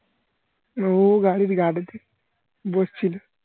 ও গাড়ির guard তে বসছিল